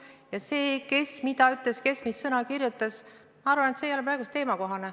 Ja see, kes mida ütles, kes mis sõna kirjutas – ma arvan, et see ei ole praegu teemakohane.